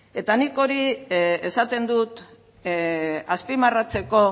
eta nik hori esaten dut azpimarratzeko